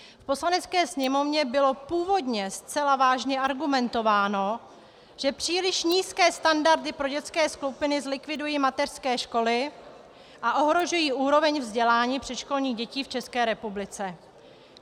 V Poslanecké sněmovně bylo původně zcela vážně argumentováno, že příliš nízké standardy pro dětské skupiny zlikvidují mateřské školy a ohrožují úroveň vzdělání předškolních dětí v České republice.